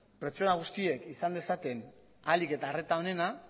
pertsona guztiek izan dezaten ahalik eta arreta onena